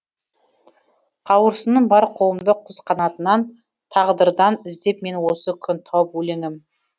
қауырсыным бар қолымда құс қанатынан тағдырдан іздеп мен осы күн тауып өлеңім